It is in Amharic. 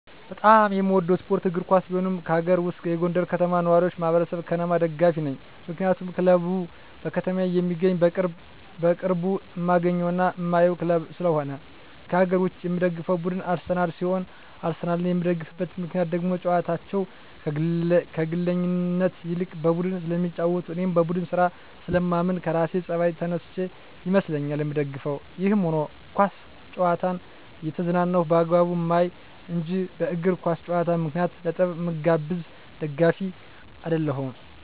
በጣም የምወደው ስፓርት እግር ኳስ ሲሆን ከአገር ውስጥ የጎንደር ከተማ ነዋሪወች ማህበር(ከነማ) ደጋፊ ነኝ ምክንያቱም ክለቡ በከተማየ የሚገኝና በቅርብ እማገኘውና እማየው ክለብ ስለሆነ። ከአገር ውጭ የምደግፈው ቡድን አርሰናል ሲሆን አርሰናልን የምደግፍበት ምክንያት ደግሞ ጨዋታቸው ከግለኝነት ይልቅ በቡድን ስለሚጫወቱ እኔም በቡድን ስራ ስለማምን ከራሴ ጸባይ ተነስቸ ይመስለኛል ምደግፋቸው። ይህም ሁኖ ኳስ ጨዋታን እየተዝናናው በአግባቡ ማይ እንጅ በእግር ኳስ ጨዋታ ምክንያት ለጠብ ምጋበዝ ደጋፊ አደለሁም።